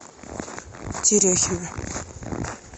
терехина